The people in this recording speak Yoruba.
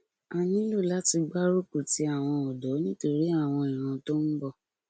a nílò láti gbárùkù ti àwọn ọdọ nítorí àwọn ìran tó ń bọ